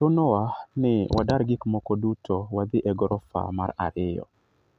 Chunowa ni wadar gik moko duto wadhi e gorofa mar ariyo."